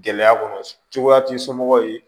Gɛlɛya kɔnɔ cogoya ti somɔgɔw ye